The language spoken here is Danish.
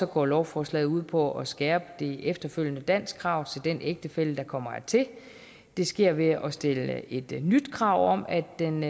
går lovforslaget ud på at skærpe det efterfølgende danskkrav til den ægtefælle der kommer hertil det sker ved at stille et nyt krav om at den